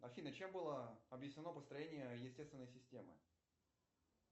афина чем было объяснено построение естественной системы